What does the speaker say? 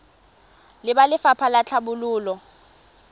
le ba lefapha la tlhabololo